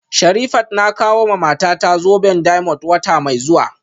Sherifat na kawowa matata zoben diamond wata mai zuwa